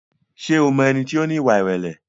Ṣé o mọ ẹni tí ó ní ìwà ìrẹ̀lẹ̀?